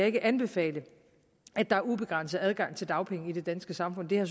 ikke anbefale at der er ubegrænset adgang til dagpenge i det danske samfund det har